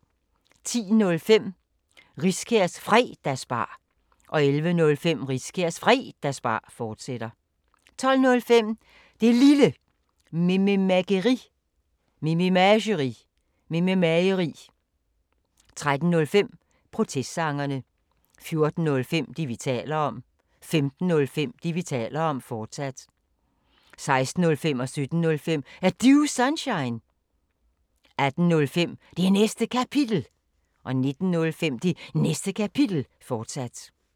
10:05: Riskærs Fredagsbar 11:05: Riskærs Fredagsbar, fortsat 12:05: Det Lille Mememageri 13:05: Protestsangerne 14:05: Det, vi taler om 15:05: Det, vi taler om, fortsat 16:05: Er Du Sunshine? 17:05: Er Du Sunshine? 18:05: Det Næste Kapitel 19:05: Det Næste Kapitel, fortsat